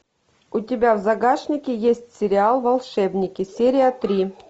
у тебя в загашнике есть сериал волшебники серия три